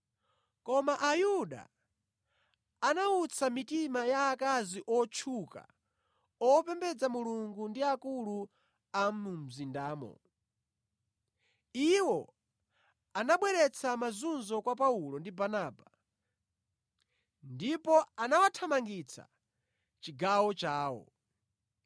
Koma Ayuda anawutsa mitima ya akazi otchuka opembedza Mulungu ndi akulu a mu mzindamo. Iwo anabweretsa mazunzo kwa Paulo ndi Barnaba ndipo anawathamangitsa mʼchigawo chawo.